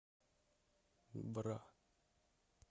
бра